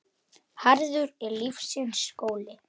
Harður er lífsins skóli.